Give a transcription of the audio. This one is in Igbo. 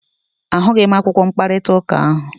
A hụghị m akwụkwọ mkparịta ụka ahụ.